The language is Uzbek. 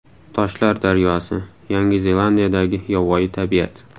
Toshlar daryosi: Yangi Zelandiyadagi yovvoyi tabiat .